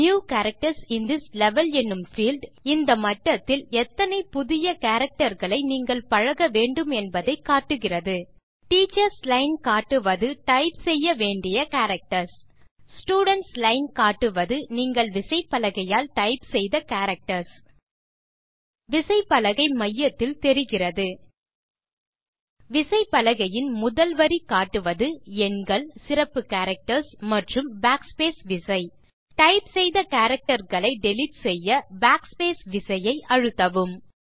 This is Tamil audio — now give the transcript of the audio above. new characters in this level எனும் பீல்ட் இந்த மட்டத்தில் எத்தனை புதிய கேரக்டர் களை நீங்கள் பழக வேண்டுமென்பதை காட்டுகிறது டீச்சர்ஸ் லைன் காட்டுவது நீங்கள் டைப் செய்ய வேண்டிய கேரக்டர்ஸ் ஸ்டூடென்ட்ஸ் லைன் காட்டுவது நீங்கள் விசைப்பலகையால் டைப் செய்த கேரக்டர்ஸ் விசைப்பலகை மையத்தில் தெரிகிறது விசைப்பலகையின் முதல் வரி காட்டுவது எண்கள் சிறப்பு கேரக்டர்ஸ் மற்றும் Backspace விசை டைப் செய்த கேரக்டர் களை டிலீட் செய்ய Backspace விசையை அழுத்தவும்